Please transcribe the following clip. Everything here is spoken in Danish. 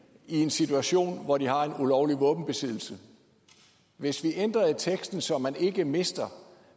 i en situation hvor de har en ulovlig våbenbesiddelse hvis vi ændrer i teksten så man ikke mister